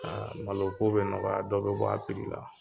Aa malo ko be nɔgɔya dɔ be bɔ a piri la